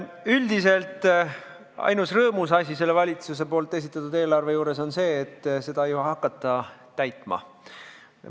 Üldiselt ainus rõõmustav asi valitsuse esitatud eelarve juures on see, et seda ju ei hakata täitma.